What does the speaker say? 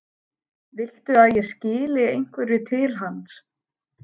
Viltu að ég skili einhverju til hans?